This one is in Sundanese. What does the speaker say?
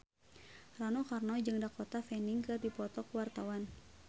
Rano Karno jeung Dakota Fanning keur dipoto ku wartawan